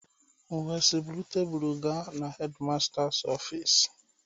M wee sị buru table ka headmasters office.